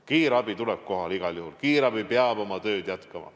Kiirabi tuleb kohale igal juhul, sest kiirabi peab oma tööd jätkama.